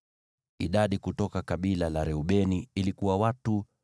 Idadi kutoka kabila la Reubeni ilikuwa watu 46,500.